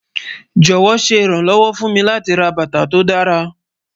Jọwọ, ṣe iranlọwọ fun mi lati rà bátà tó dàra